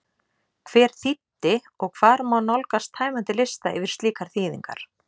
Hver þýddi og hvar má nálgast tæmandi lista yfir slíkar þýðingar?